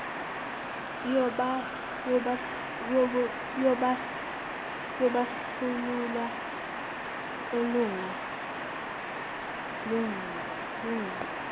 yobandlululo olunga lungile